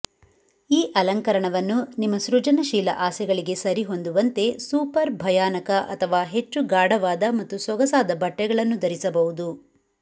ಈ ಅಲಂಕರಣವನ್ನು ನಿಮ್ಮ ಸೃಜನಶೀಲ ಆಸೆಗಳಿಗೆ ಸರಿಹೊಂದುವಂತೆ ಸೂಪರ್ ಭಯಾನಕ ಅಥವಾ ಹೆಚ್ಚು ಗಾಢವಾದ ಮತ್ತು ಸೊಗಸಾದ ಬಟ್ಟೆಗಳನ್ನು ಧರಿಸಬಹುದು